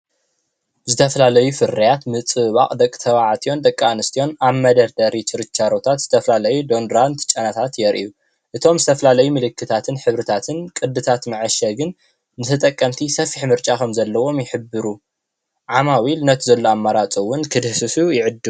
ዝተፈላለዩ ፍርያት ምፅብባቕ ደቂ ተባዕትዮን ደቂ ኣንስትዮን ኣብ መደርደሪ ችርቻሮታት ዝተፈላለዩ ዶንድራንት ጨናታት የርእዩ። እቶም ዝተፈላለዩ ምልክታትን ሕብርታትን ቅዲታት መዐሸግን ንተጠቀምቲ ሰፊሕ ምርጫ ከምዘለዎም ይሕብሩ። ዓማዊል ነቲ ዘሎ ኣማራፂ እውን ክድህስሱ ይዕድሙ።